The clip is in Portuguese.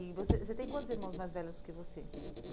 E você você tem quantos irmãos mais velhos que você?